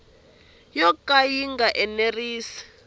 yo ka ya nga enerisi